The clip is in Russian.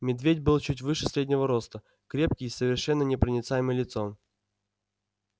медведь был чуть выше среднего роста крепкий и с совершенно непроницаемым лицом